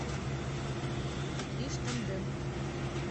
иж тандем